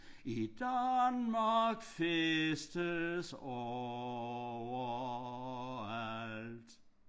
I Danmark festes overalt